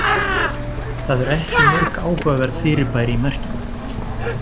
það eru ekki mörg áhugaverð fyrirbæri í merkinu